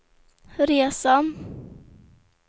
resan